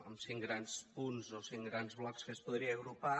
en cinc grans punts o cinc grans blocs que es podria agrupar